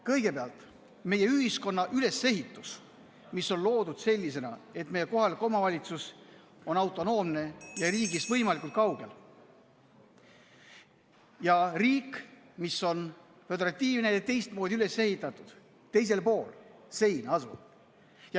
Kõigepealt meie ühiskonna ülesehitus, mis on loodud sellisena, et meie kohalik omavalitsus on autonoomne ja riigist võimalikult kaugel, ja riik, mis on föderatiivne, on teistmoodi üles ehitatud ja asub teisel pool seina.